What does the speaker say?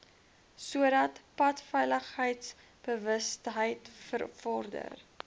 sodat padveiligheidsbewustheid bevorder